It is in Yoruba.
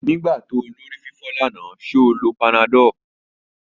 Nigbati o ni orififo lana, ṣe o lo panadol?